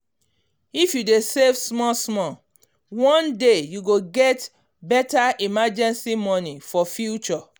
if you dey save um small small one day you go get better emergency money um for future.